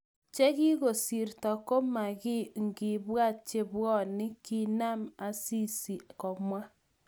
chekikosirto komokiy ongebwaat chebwoni, kiinan Asisi komwa